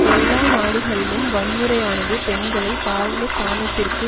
எல்லா நாடுகளிலும் வன்முறையானது பெண்களை தாழ்ந்த ஸ்தானத்திற்கு